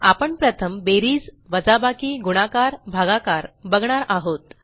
आपण प्रथम बेरीज वजाबाकी गुणाकार भागाकार बघणार आहोत